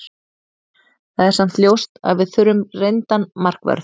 Það er samt ljóst að við þurfum reyndan markvörð.